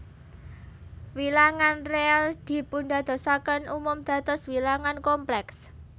Wilangan réal dipundadosaken umum dados wilangan komplèks